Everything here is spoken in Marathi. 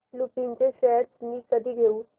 लुपिन चे शेअर्स मी कधी घेऊ